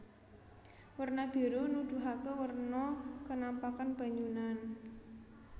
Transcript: Werna biru nuduhaké werna kenampakan banyunan